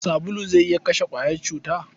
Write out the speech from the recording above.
Sabulu zai iya kashe ƙwayar cuta.